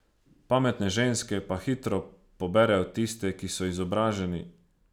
Pametne ženske pa hitro poberejo tiste, ki so izobraženi.